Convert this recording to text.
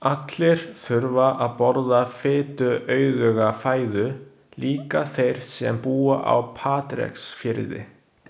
Allir þurfa að borða fituauðuga fæðu, líka þeir sem búa á Patreksfirði.